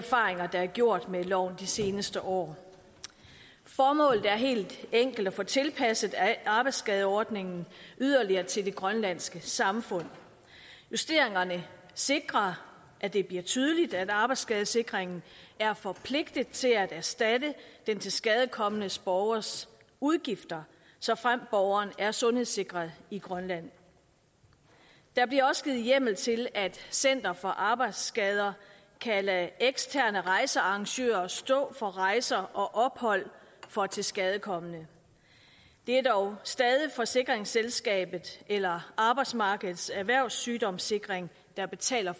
erfaringer der er gjort med loven de seneste år formålet er helt enkelt at få tilpasset arbejdsskadeordningen yderligere til det grønlandske samfund justeringerne sikrer at det bliver tydeligt at arbejdsskadesikringen er forpligtet til at erstatte den tilskadekomne borgers udgifter såfremt borgeren er sundhedssikret i grønland der bliver også givet hjemmel til at center for arbejdsskader kan lade eksterne rejsearrangører stå for rejser og ophold for tilskadekomne det er dog stadig forsikringsselskabet eller arbejdsmarkedets erhvervssygdomssikring der betaler